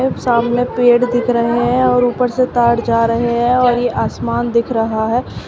सामने पेड़ दिख रहे हैं और ऊपर से तार जा रहे हैं और ये आसमान दिख रहा है।